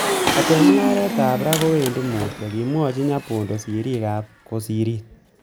'Kobaten mungaret ab raa kowendi mutyo,''Kimwoche Nyabondo sirig ab koserit.